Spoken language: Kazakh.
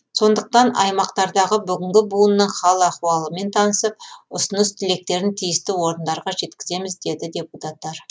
сондықтан аймақтардағы бүгінгі буынның хал ахуалымен танысып ұсыныс тілектерін тиісті орындарға жеткіземіз деді депутттар